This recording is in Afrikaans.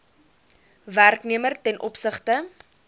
werknemer ten opsigte